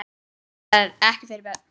Þetta er ekki fyrir börn.